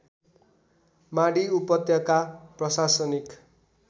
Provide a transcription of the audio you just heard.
माडी उपत्यका प्रशासनिक